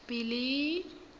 billy